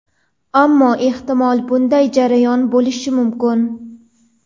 Ammo, ehtimol, bunday jarayon bo‘lishi mumkin.